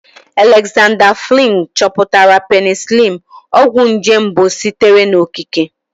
Alexander Fleming chọpụtara penisiliini, ọgwụ nje mbụ sitere n'okike.